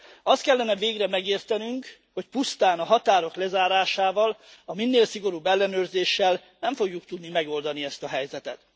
Azt kellene végre megértenünk, hogy pusztán a határok lezárásával, a minél szigorúbb ellenőrzéssel nem fogjuk tudni megoldani ezt a helyzetet.